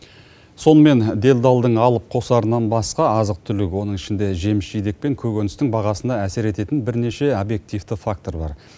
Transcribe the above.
сонымен делдалдың алып қосарынан басқа азық түлік оның ішінде жеміс жидек пен көкөністің бағасына әсер ететін бірнеше объективті фактор бар